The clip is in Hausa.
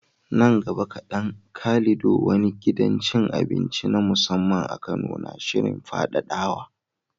Nan gaba kaɗan, Calido, wani gidan cin abinci na musamman a Kano, na shirin faɗaɗawa